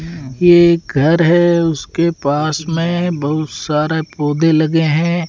ये घर है उसके पास में बहुत सारे पौधे लगे हैं।